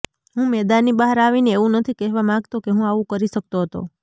હું મેદાનની બહાર આવીને એવું નથી કહેવા માંગતો કે હું આવુ કરી શકતો હતો